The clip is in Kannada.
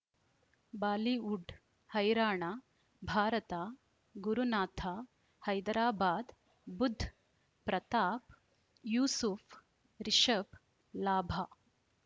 ಬಾಲಿವುಡ್ ಹೈರಾಣ ಭಾರತ ಗುರುನಾಥ ಹೈದರಾಬಾದ್ ಬುಧ್ ಪ್ರತಾಪ್ ಯೂಸುಫ್ ರಿಷಬ್ ಲಾಭ